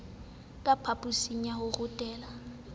ka phaposing ya ho rutela